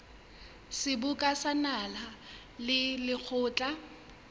seboka sa naha le lekgotla